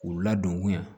K'u ladon